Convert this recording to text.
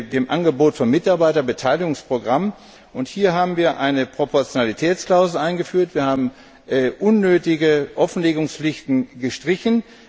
dem Angebot von Mitarbeiterbeteiligungsprogrammen. Hier haben wir eine Proportionalitätsklausel eingeführt, wir haben unnötige Offenlegungspflichten gestrichen.